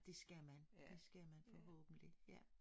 Det skal man det skal man forhåbentlig ja